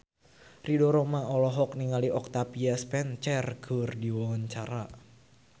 Ridho Roma olohok ningali Octavia Spencer keur diwawancara